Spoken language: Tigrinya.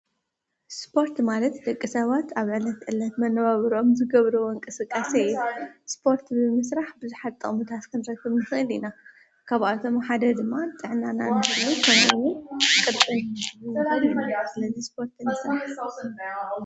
ስፖርት ማለት ደቂ ሰባት ኣብ ዕለት ዕለት መነባብሮኦም ዝገብሮ ወንቀ ሥቃ ሰየ ስጶርት ብምሥራሕ ብዙሓጣው ሙታ ስከንረቶምኒሴል ኢና ካብኣቶም ሓደ ድማ ጥዕናና እንተሉ ተነዉ ቕድቓ በድ ስለዙይ ስጶርት ንሥረሕ::